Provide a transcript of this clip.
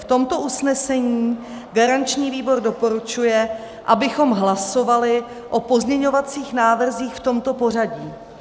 V tomto usnesení garanční výbor doporučuje, abychom hlasovali o pozměňovacích návrzích v tomto pořadí: